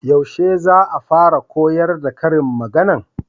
Yaushe za'a fara koyar da karin magana?